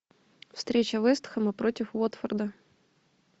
встреча вест хэма против уотфорда